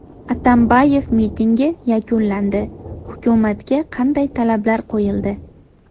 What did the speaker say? Atambayev mitingi yakunlandi: hukumatga qanday talablar qo‘yildi?.